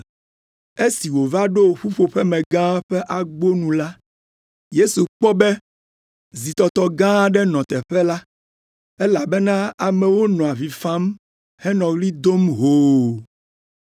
Esi wòva ɖo ƒuƒoƒemegã ƒe agbonu la, Yesu kpɔ be zitɔtɔ gã aɖe nɔ teƒe la, elabena amewo nɔ avi fam henɔ ɣli dom hoo.